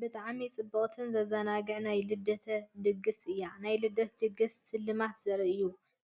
ብጣዕሚ ጽብቕትን ዘዘናግዕን ናይ ልደት ድግስ እያ! ናይ ልደት ድግስ ስልማት ዘርኢ እዩ።